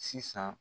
Sisan